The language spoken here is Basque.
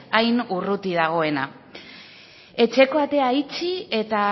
hain urruti dagoena etxeko atea itxi eta